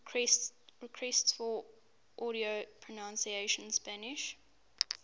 requests for audio pronunciation spanish